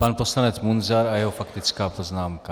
Pan poslanec Munzar a jeho faktická poznámka.